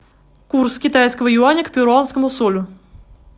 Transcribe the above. курс китайского юаня к перуанскому солю